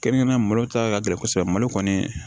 Kɛrɛnkɛrɛnnenya malo ta ka gɛlɛn kosɛbɛ malo kɔni